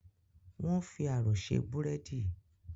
Wọ́n fi ààrò ṣe búrẹ́dì